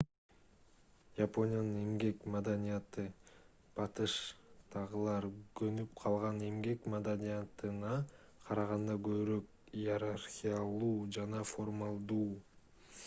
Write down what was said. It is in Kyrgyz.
япониянын эмгек маданияты батыштагылар көнүп калган эмгек маданитына карганда көбүрөөк иерархиялуу жана формалдуу